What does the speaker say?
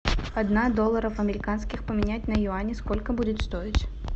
одна долларов американских поменять на юани сколько будет стоить